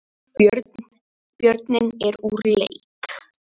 Björninn er úr leik